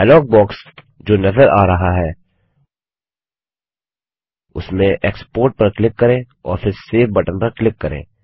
dialog box जो नज़र आ रहा है उसमें एक्सपोर्ट पर क्लिक करें और फिर सेव बटन पर क्लिक करें